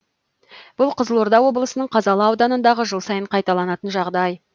бұл қызылорда облысының қазалы ауданындағы жыл сайын қайталанатын жағдай